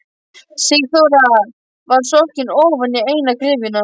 Sigþóra var sokkin ofan í eina gryfjuna.